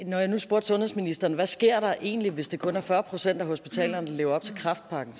når jeg nu spurgte sundhedsministeren hvad sker der egentlig hvis det kun er fyrre procent af hospitalerne der lever op til kræftpakken